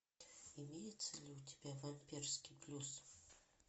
имеется ли у тебя вампирский плюс